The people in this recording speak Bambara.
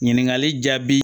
Ɲininkali jaabi